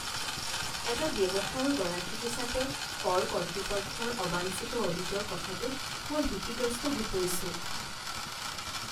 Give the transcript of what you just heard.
এটা ব্যৱসায়ৰ গৰাকী হিচাপে, কৰ কৰ্তৃপক্ষৰ অবাঞ্ছিত অডিটৰ কথাটোত মই ভীতিগ্ৰস্ত হৈ পৰিছো।